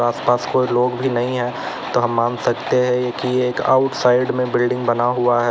आस पास कोई लोग भी नहीं है तो हम मान सकते हैं कि एक आउटसाइड में बिल्डिंग बना हुआ है।